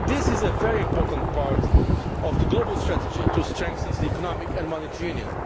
This is a very important part of the global strategy to strengthen the Economic and Monetary Union.